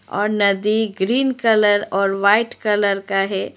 और नदी green colour और वाइट कलर का है।